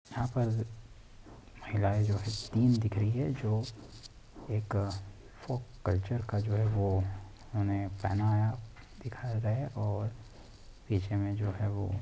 यहाँ पर महिलाएँ जो हैं स्क्रीन दिख रही है जो एक फॉक कल्चर का जो है वो उन्होंने पहनावा दिखाया है और पीछे में जो --